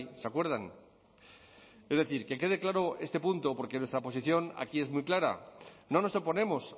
se acuerdan es decir que quede claro este punto porque nuestra posición aquí es muy clara no nos oponemos